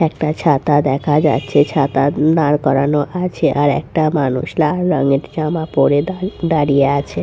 একটা ছাতা দেখা যাচ্ছে ছাতা দাঁড় করানো আছে আর একটা মানুষ লাল রঙের জামা পড়ে দাঁ- দাঁড়িয়ে আছে ।